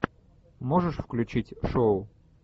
можешь включить шоу